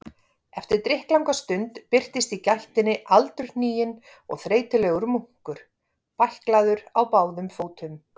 Eftir drykklanga stund birtist í gættinni aldurhniginn og þreytulegur munkur, bæklaður á báðum fótum.